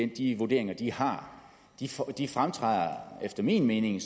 de vurderinger de har efter min mening